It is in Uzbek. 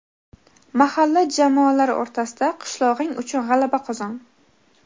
mahalla jamoalari o‘rtasida), "Qishlog‘ing uchun g‘alaba qozon!"